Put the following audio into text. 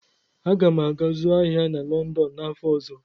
Aga m aga zụọ ahịa na Lọndọn n'afọ ọzọ.